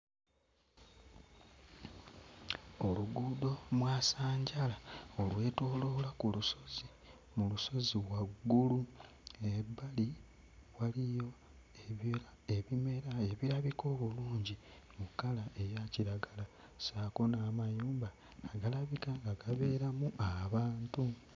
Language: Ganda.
Oluguudo mwasanjala olwetooloola ku lusozi mu lusozi waggulu ebbali waliyo ebya ebimera ebirabika obulungi mu kkala eya kiragala ssaako n'amayumba agalabika nga gabeeramu abantu.